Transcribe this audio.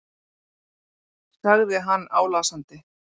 sagði hann álasandi.